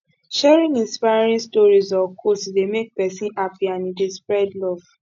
sharing inspiring stories or quotes dey make pesin happy and e dey spread love